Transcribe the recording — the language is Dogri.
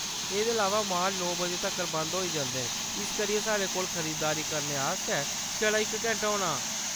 एह्‌‌‌दे अलावा, माल नौ बजे तक्कर बंद होई जंदे न इस करियै साढ़े कोल खरीदारी करने आस्तै छड़ा इक घैंटा होना।